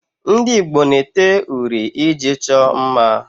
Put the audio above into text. Ndị Igbo na-ete uri iji chọọ mma